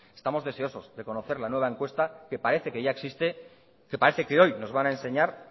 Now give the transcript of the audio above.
estamos deseosos de conocer la nueva encuesta que parece que ya existe que parece que hoy nos van a enseñar